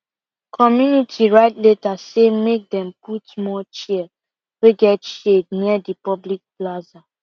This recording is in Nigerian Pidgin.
community write letter say make dem put more chair wey get shade near the public plaza